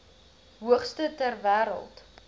hoogste ter wêreld